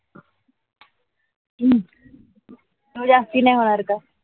हम्म तो जास्ती नाही होणार का.